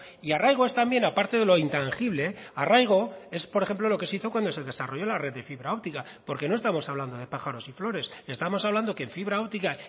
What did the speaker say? y arraigo es también a parte de lo intangible arraigo es por ejemplo lo que se hizo cuando se desarrolló la red de fibra óptica porque no estamos hablando de pájaros y flores estamos hablando que en fibra óptica